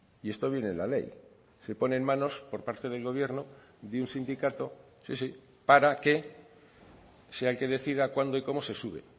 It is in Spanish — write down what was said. y esto viene en la ley se pone en manos por parte del gobierno de un sindicato sí sí para que sea el que decida cuándo y cómo se sube